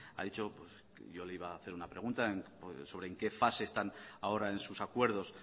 ha dicho le iba hacer una pregunta sobre en qué fase están ahora en sus acuerdos